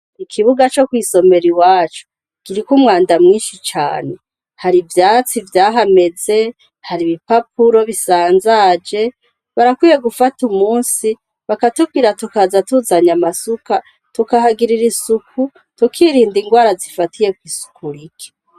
Ikibuga co kw'isomera iwacu, kiriko umwanda mwinshi cane. Hari ivyasi vyahameze ,hari ibipapuro bisanzaje, barakwiye gufata umunsi, bakatubwira tukaza tuzanye amasuka, tukahagirira isuku, tukirinda ingwara zifatiye kw'isuku rike.